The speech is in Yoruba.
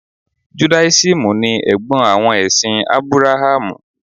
Judáísímù ni Ẹ̀gbọ́n àwọn ẹ̀sìn Ábúráhámù.